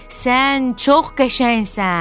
Sən çox qəşəngsən.